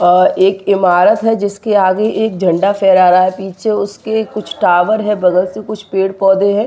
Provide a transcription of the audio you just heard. एक इमारत है जिसके आगे एक झंडा फहरा रहा है पीछे उसके कुछ टावर है बगल से कुछ पेड़ पौधे हैं।